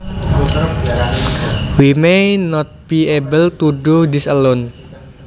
We may not be able to do this alone